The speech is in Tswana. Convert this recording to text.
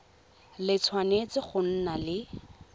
le tshwanetse go nna le